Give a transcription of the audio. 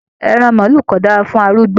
Ẹran maálù ko dára fún arúgbó.